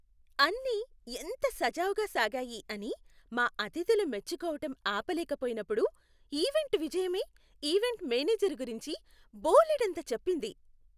అన్నీ ఎంత సజావుగా సాగాయి అని మా అతిథులు మెచ్చుకోవటం ఆపలేకపోయినప్పుడు ఈవెంట్ విజయమే ఈవెంట్ మేనేజర్ గురించి బోలెడంత చెప్పింది.